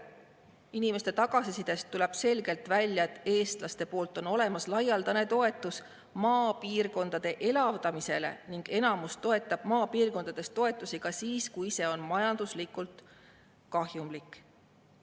Inimeste tagasisidest tuleb selgelt välja, et eestlastelt on olemas laialdane toetus maapiirkondade elavdamisele ning enamus toetab maapiirkondade toetusi ka siis, kui see on majanduslikult kahjumlik.